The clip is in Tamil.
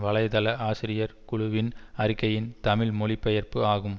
வலை தள ஆசிரியர் குழுவின் அறிக்கையின் தமிழ் மொழிபெயர்ப்பு ஆகும்